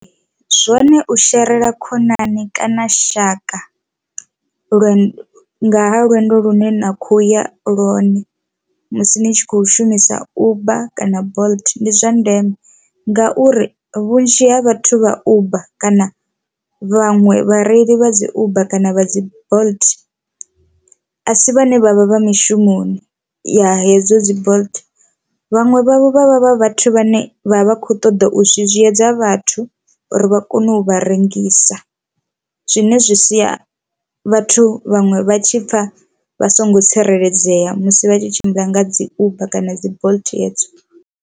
Zwone u sherela khonani kana shaka lwendo nga lwendo lune na khou ya lwone musi ni tshi kho shumisa uber kana bolt ndi zwa ndeme ngauri vhunzhi ha vhathu vha uber kana vhaṅwe vhareili vha dzi uber kana vha dzi bolt a si vhane vhavha vha mishumoni ya hedzo dzi bolt, vhaṅwe vhavho vhavha vha vhathu vhane vha vha vha kho ṱoḓa u zwizwiedza vhathu uri vha kone u vha rengisa zwine zwi sia vhathu vhaṅwe vha tshi pfha vha songo tsireledzea musi vha tshi tshimbila nga dzi uber kana bolt hedzo.